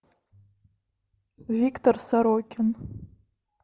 виктор сорокин